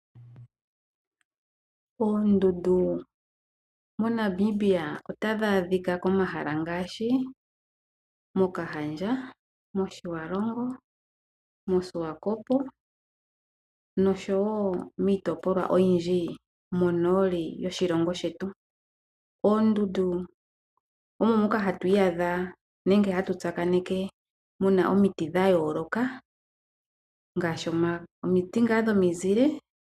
Oondundu moNamibia otadhi adhika komahala ngaashi mOkahandja, mOtjiwarongo, mOswakop nosho wo miitopolwa oyindji monooli yoshilongo shetu. Oondundu omo moka hatu iyadha nenge hatu tsakaneke mu na omiti dhayooloka ngaashi omiti dhomizile.